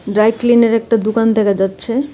Dry ক্লিনের একটা দোকান দেখা যাচ্ছে .